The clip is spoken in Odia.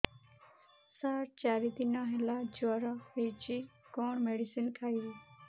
ସାର ଚାରି ଦିନ ହେଲା ଜ୍ଵର ହେଇଚି କଣ ମେଡିସିନ ଖାଇବି